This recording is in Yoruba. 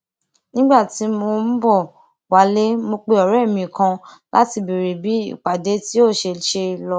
nígbà tí mò ń bò wálé mo pe òré mi kan láti béèrè bí ìpàdé tí ó ṣeṣe lọ